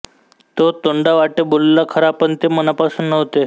तो तोंडावाटे बोलला खरा पण ते मनापासून नव्हते